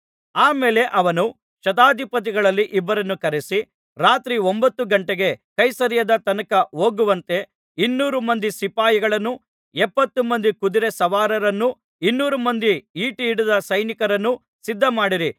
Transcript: ಆ ಮೇಲೆ ಅವನು ಶತಾಧಿಪತಿಗಳಲ್ಲಿ ಇಬ್ಬರನ್ನು ಕರೆಯಿಸಿ ರಾತ್ರಿ ಒಂಭತ್ತು ಘಂಟೆಗೆ ಕೈಸರೈಯದ ತನಕ ಹೋಗುವಂತೆ ಇನ್ನೂರು ಮಂದಿ ಸಿಪಾಯಿಗಳನ್ನೂ ಎಪ್ಪತ್ತುಮಂದಿ ಕುದುರೆ ಸವಾರರನ್ನೂ ಇನ್ನೂರು ಮಂದಿ ಈಟಿ ಹಿಡಿದ ಸೈನಿಕರನ್ನು ಸಿದ್ಧಮಾಡಿರಿ